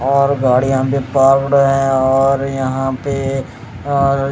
और गाड़ियां भी पार्क्ड हैं और यहां पे और--